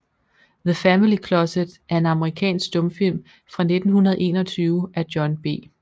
The Family Closet er en amerikansk stumfilm fra 1921 af John B